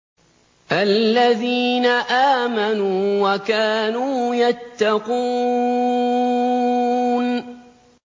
الَّذِينَ آمَنُوا وَكَانُوا يَتَّقُونَ